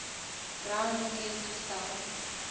brown bekend gestel